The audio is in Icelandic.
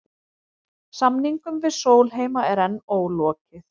Samningum við Sólheima er enn ólokið